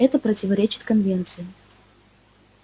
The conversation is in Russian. это противоречит конвенции